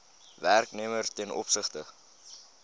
werknemer ten opsigte